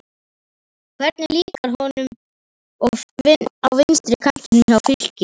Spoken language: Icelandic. Hvernig líkar honum á vinstri kantinum hjá Fylki?